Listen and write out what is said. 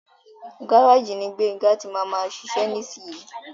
Gáràjì ní Gbénga tí máa má ṣiṣe nísiyi.